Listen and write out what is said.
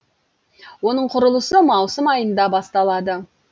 оның құрылысы маусым айында басталады